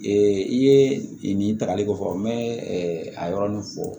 Ee i ye nin takali ko fɔ n bɛ a yɔrɔnin fɔ